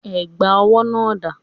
Ẹ̀gbà owó náà dà?